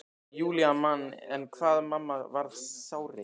Júlía man enn hvað mamma varð sárreið.